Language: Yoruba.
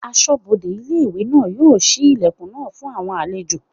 Asọ́bodè ilé-ìwé náà yóò ṣí ilẹ̀kùn náà fún àwọn àlejò